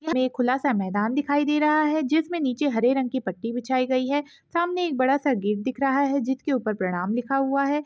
एक खुला सा मैदान दिखाई दे रहा है जिसमे नीचे हरे रंग की पत्ती बिछाइ गई है सामने एक बड़ा सा गेट दिख रहा है जिसके ऊपर प्रणाम लिखा हुआ है।